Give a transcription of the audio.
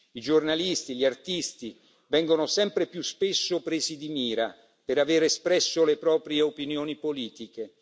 I giornalisti e gli artisti vengono sempre più spesso presi di mira per aver espresso le proprie opinioni politiche.